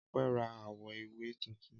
Ọpẹ́ ra àwo-ìwẹ̀ tuntun.